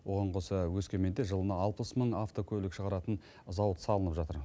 оған қоса өскеменде жылына алпыс мың автокөлік шығаратын зауыт салынып жатыр